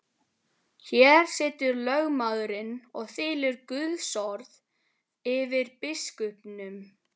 Hér situr lögmaðurinn og þylur Guðsorð yfir biskupnum.